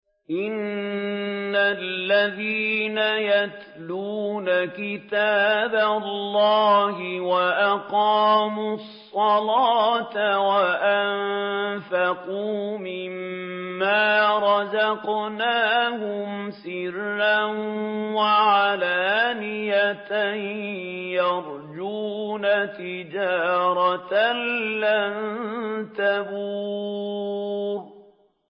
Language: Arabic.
إِنَّ الَّذِينَ يَتْلُونَ كِتَابَ اللَّهِ وَأَقَامُوا الصَّلَاةَ وَأَنفَقُوا مِمَّا رَزَقْنَاهُمْ سِرًّا وَعَلَانِيَةً يَرْجُونَ تِجَارَةً لَّن تَبُورَ